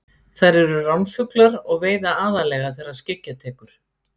Þær eru ránfuglar og veiða aðallega þegar skyggja tekur.